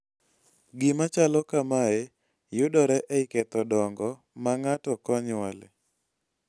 gima chalo kamae kamae yudore ei ketho dongo ma ng'ato konyuole